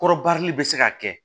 Kɔrɔbarili bɛ se ka kɛ